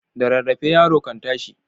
Da rarrafe yaro kan tashi.